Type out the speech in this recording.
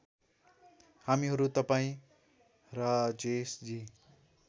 हामीहरू तपाईँ राजेशजी